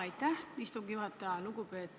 Aitäh, istungi juhataja!